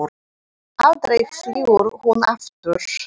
Aldrei flýgur hún aftur